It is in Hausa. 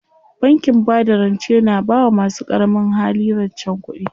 Bankin bada rance na bawa masu ƙaramin hali rancen kuɗi.